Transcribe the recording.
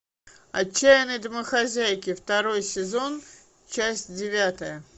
отчаянные домохозяйки второй сезон часть девятая